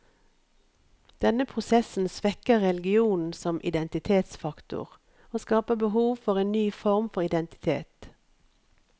Denne prosessen svekker religionen som identitetsfaktor, og skaper behov for en ny form for identitet.